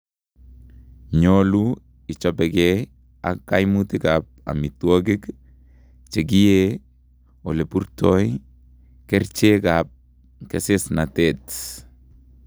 Nyoluu ichobekee ak kaimutik ab omitowogik, chekiyee, eleburtoi, kercheek ak kesesnatet